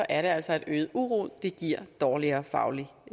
altså at øget uro giver dårligere fagligt